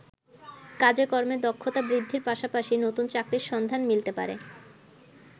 কাজে-কর্মে দক্ষতা বৃদ্ধির পাশাপাশি নতুন চাকরির সন্ধান মিলতে পারে।